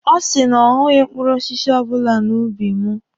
Ọ sị na ọ hụghị mkpụrụ osisi ọbụla n'ubi mụ.